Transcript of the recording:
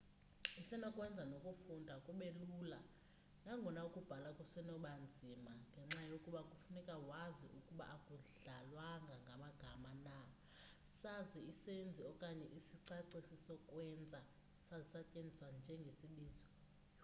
isenokwenza nokufunda kube lula nangona ukubhala kusenokuba nzima ngenxa yokuba kufuneka wazi ukuba akudlalwanga ngamagama na saza isenzi okanye isicacisi-sokwenza sasetyenziswa njengesibizo